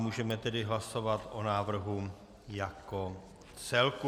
Můžeme tedy hlasovat o návrhu jako celku.